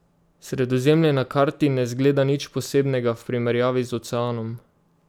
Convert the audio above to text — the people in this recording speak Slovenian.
Sredozemlje na karti ne zgleda nič posebnega v primerjavi z oceanom.